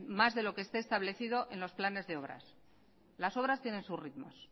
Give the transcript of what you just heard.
más de lo que esté establecido en los planes de obras las obras tienen sus ritmos